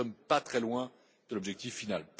Nous ne sommes pas très loin de l'objectif final.